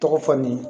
Tɔgɔ fɔ nin ye